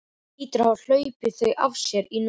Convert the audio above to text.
Hann hlýtur að hafa hlaupið þau af sér í nótt.